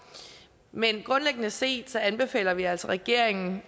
men grundlæggende set anbefaler vi altså regeringen